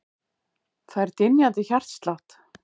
Fær dynjandi hjartslátt.